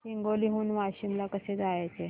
हिंगोली हून वाशीम ला कसे जायचे